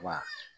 Wa